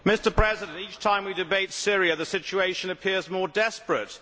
Mr President, each time we debate Syria the situation appears more desperate.